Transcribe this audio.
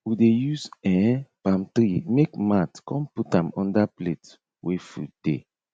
we dey use um palm tree make mat kon put am under plate wey food dey